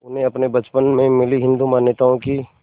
उन्हें अपने बचपन में मिली हिंदू मान्यताओं की